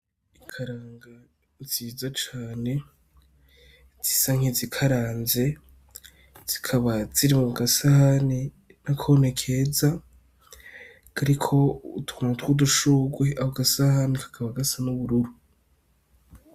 Ikaranga nziza cane zisa nkizikaraze zikaba ziri mu gasahani nakone keza kariko utuntu twudushurwe, ako gasahani kakaba gasa n'ubururu.